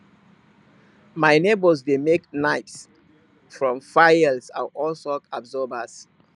my neighbours dey make knives from files and old shock absorbers